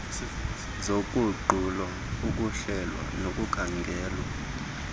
zoguqulo ukuhlelwa nokukhangelwa